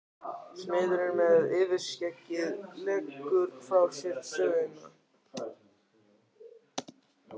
Smiðurinn með yfirskeggið leggur frá sér sögina.